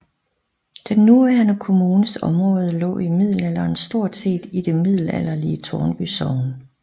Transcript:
Den nuværende kommunes område lå i middelalderen stort set i det middelalderlige Tårnby sogn